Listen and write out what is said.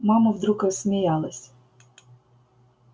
мама вдруг рассмеялась